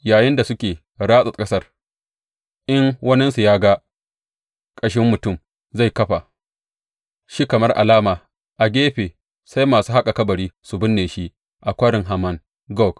Yayinda suke ratsa ƙasar, in waninsu ya ga ƙashin mutum, zai kafa shi kamar alama a gefe sai masu haƙa kabari sun binne shi a Kwarin Haman Gog.